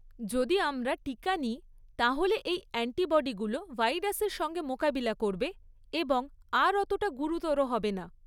যদি আমরা টিকা নিই তাহলে এই অ্যান্টিবডিগুলো ভাইরাসের সঙ্গে মোকাবিলা করবে এবং আর অতটা গুরুতর হবে না।